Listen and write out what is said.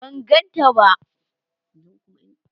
ban ganta ba